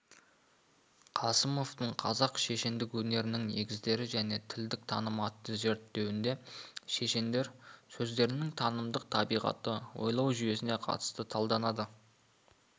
қосымованың қазақ шешендік өнерінің негіздері және тілдік танымы атты зерттеуінде шешендер сөздерінің танымдық табиғаты ойлау жүйесіне қатысты талданады